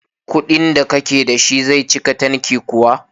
Kuɗin da kake da shi zai cika tanki kuwa?